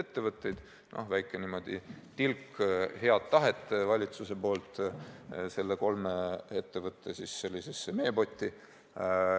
See on väike tilk head tahet valitsuse poolt nende kolme ettevõtte meepotti.